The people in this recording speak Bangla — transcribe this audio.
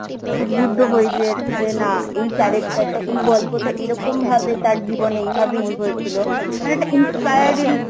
উদ্বুদ্ধ হই যে যে না এই character টা এই গল্পটা এইরকম ভাবে তার জীবনে এই ভাবেই হয়েছিল, মানে একটা inspiral